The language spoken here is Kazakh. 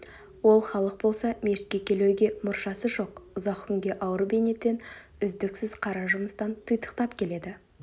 ол халық болса мешітке келуге мұршасы жоқ ұзақ күнге ауыр бейнеттен үздіксіз қара жұмыстан титықтап келеді